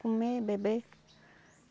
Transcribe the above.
Comer, beber.